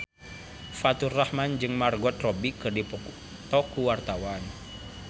Faturrahman jeung Margot Robbie keur dipoto ku wartawan